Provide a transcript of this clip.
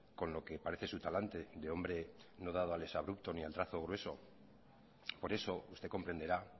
con lo que parece su talante de hombre no dado al exabrupto ni al trazo grueso por eso usted comprenderá